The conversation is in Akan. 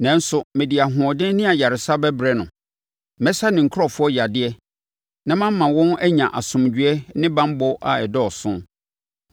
“ ‘Nanso, mede ahoɔden ne ayaresa bɛbrɛ no; mɛsa me nkurɔfoɔ yadeɛ na mama wɔn anya asomdwoeɛ ne banbɔ a ɛdɔɔso.